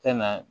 Tɛ na